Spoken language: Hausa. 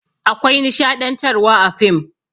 Akwai nishaɗantarwa a fim.